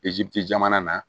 jamana na